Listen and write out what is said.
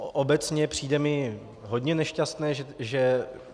Obecně přijde mi hodně nešťastné, že...